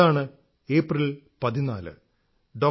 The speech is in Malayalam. അതാണ് ഏപ്രിൽ 14 ഡോ